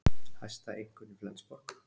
Hæsta einkunn í Flensborg